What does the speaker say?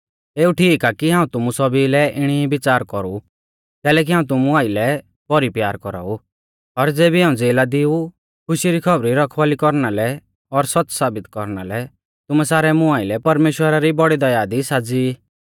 एऊ ठीक आ कि हाऊं तुमु सौभी लै इणी ई बिच़ार कौरु कैलैकि हाऊं तुमु आइलै भौरी प्यार कौराऊ और ज़ेबी हाऊं ज़ेला दी ऊ खुशी री खौबरी रखवाल़ी कौरना लै और सौच़्च़ साबित कौरना लै तुमै सारै मुं आइलै परमेश्‍वरा री बौड़ी दया दी साज़ी ई